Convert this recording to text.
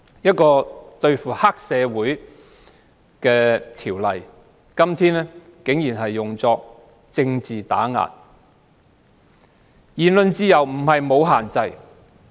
今天，對付黑社會的條例竟然被用作政治打壓工具。